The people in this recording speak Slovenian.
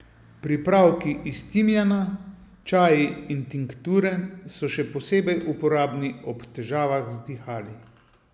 Pripravki iz timijana, čaji in tinkture, so še posebej uporabni ob težavah z dihali.